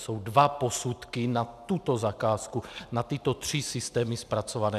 Jsou dva posudky na tuto zakázku, na tyto tři systémy zpracované.